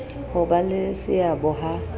ho ba le seabo ha